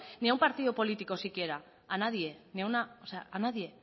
ni a un partido político siquiera a nadie ni una o sea a nadie